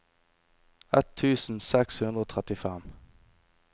ett tusen seks hundre og trettifem